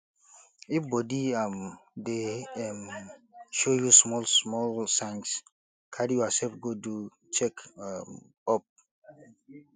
if body um dey um show you small small signs carry yourself go do check um up